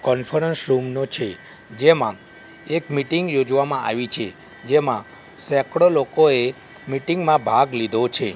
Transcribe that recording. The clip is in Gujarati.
કોન્ફરન્સ રૂમ નો છે જેમાં એક મિટિંગ યોજવામાં આવી છે જેમાં સેકડો લોકોએ મિટિંગ માં ભાગ લીધો છે.